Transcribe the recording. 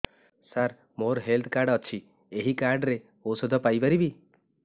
ସାର ମୋର health card ଅଛି ଏହି କାର୍ଡ ରେ ଔଷଧ ପାଇପାରିବି